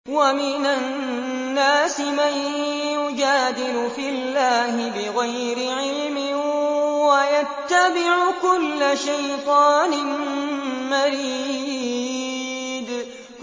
وَمِنَ النَّاسِ مَن يُجَادِلُ فِي اللَّهِ بِغَيْرِ عِلْمٍ وَيَتَّبِعُ كُلَّ شَيْطَانٍ مَّرِيدٍ